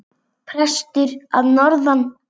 Prestur að norðan!